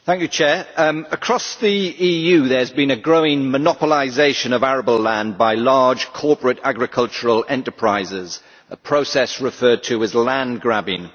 Madam President, across the EU there has been a growing monopolisation of arable land by large corporate agricultural enterprises a process referred to as land grabbing.